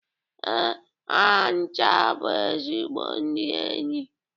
Ee, ha ncha bụ ezigbo ndị enyi.